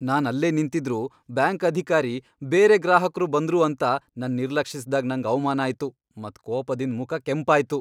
ನಾನ್ ಅಲ್ಲೇ ನಿಂತಿದ್ರೂ ಬ್ಯಾಂಕ್ ಅಧಿಕಾರಿ ಬೇರೆ ಗ್ರಾಹಕ್ರು ಬಂದ್ರು ಅಂತ್ ನನ್ ನಿರ್ಲಕ್ಷಿಸಿದಾಗ್ ನಂಗ್ ಅವಮಾನ ಆಯ್ತು ಮತ್ ಕೋಪದಿಂದ್ ಮುಖ ಕೆಂಪಾಯ್ತು.